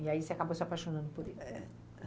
E aí você acabou se apaixonando por ele? É.